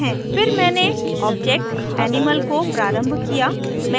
फिर मैंने object animal को प्रारम्भ किया